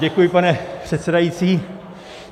Děkuji, pane předsedající.